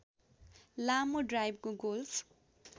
लामो ड्राइवको गोल्फ